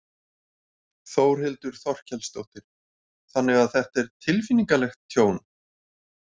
Þórhildur Þorkelsdóttir: Þannig að þetta er tilfinningalegt tjón?